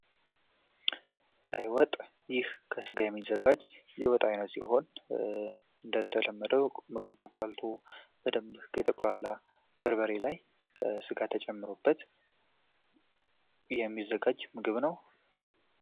ቀይ ወጥ ይህ ከስጋ የሚዘጋጅ የወጥ አይነት ሲሆን እንደተለመደው በደንብ በተቁላላ በርበሬ ላይ ስጋ ተጨምሮበት የሚዘጋጅ ምግብ ነው።